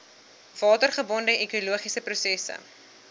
watergebonde ekologiese prosesse